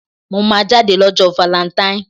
Mo máa jáde ní ọjọ́ valẹntain.